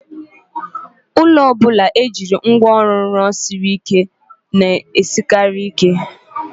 Ụlọ ọbụla e jiri ngwa ọrụ siri ike rụọ na-esikarị ike.